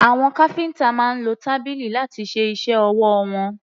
Àwọn káfíńtà máa ń lo tábìlì láti ṣe iṣẹ́ ọwọ́ wọn.